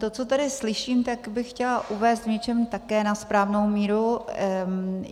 To, co tady slyším, tak bych chtěla uvést v něčem také na správnou míru.